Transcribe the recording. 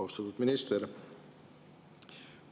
Austatud minister!